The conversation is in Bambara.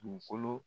Dugukolo